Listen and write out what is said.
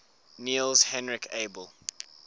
niels henrik abel